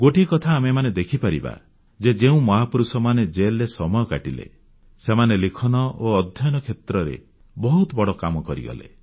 ଗୋଟିଏ କଥା ଆମେମାନେ ଦେଖିପାରିବା ଯେ ଯେଉଁ ମହାପୁରୁଷମାନେ ଜେଲରେ ସମୟ କାଟିଲେ ସେମାନେ ଲିଖନ ଓ ଅଧ୍ୟୟନ କ୍ଷେତ୍ରରେ ବହୁତ ବଡ଼ କାମ କରିଗଲେ